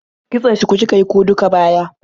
Kitson shuku kika yi ko duk baya?